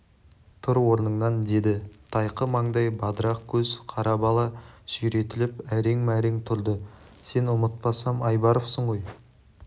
тұр орныңнан деді тайқы маңдай бадырақ көз қара бала сүйретіліп әрең-мәрең тұрды сен ұмытпасам айбаровсың ғой